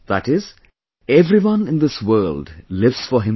That is, everyone in this world lives for himself